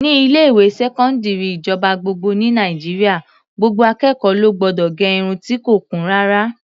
Ní ilé-ìwé sẹkọndiri ìjọba gbogbo ní Nàìjíríà, gbogbo akẹ́kọ̀ọ́ ló gbọdọ̀ gẹ irun ti kò kún rárá.